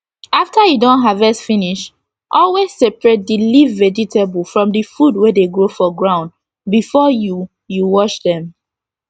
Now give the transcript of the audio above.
after u don harvest finish always separate d leaf vegetable from d food wey dey grow for ground before u u wash dem